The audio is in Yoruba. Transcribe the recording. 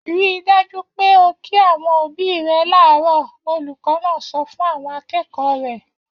Ri dájú pé o kí àwọn òbí rẹ láàárọ̀! Olùkọ́ náà sọ fún àwọn akẹ́kọ̀ọ́ rẹ̀.